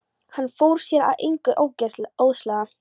Hann fór sér að engu óðslega.